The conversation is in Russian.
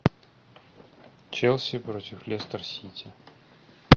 челси против лестер сити